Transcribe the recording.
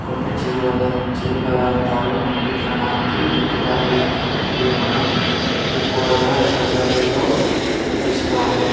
కొన్ని చిరు పదార్ధాలు మనం తినడానికి దొరుకుతాయి ఇది మనం ఎక్కువగా రహదారిలో చూస్తాము